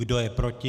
Kdo je proti?